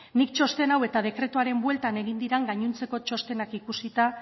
nik txosten hau eta dekretuaren bueltan egin diren gainontzeko txostenak ikusita